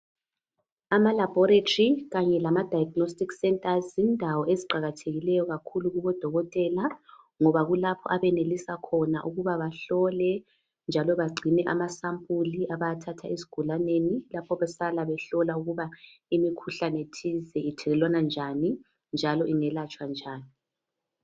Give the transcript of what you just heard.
Amalabholatri kanye lama diagnostic centres yindawo eziqakathekileyo kakhulu kubodokotela ngoba kulapho abayenelisa khona ukuba behlole njalo bangcine amasampula abawathatha ezigulaleni lapha behlala behlola ukuba imikhuhlanethize ithelelwana njani njalo iyelatshwa njani.